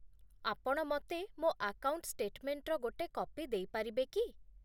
ଆପଣ ମତେ ମୋ ଆକାଉଣ୍ଟ ଷ୍ଟେଟମେଣ୍ଟର ଗୋଟେ କପି ଦେଇପାରିବେ କି ?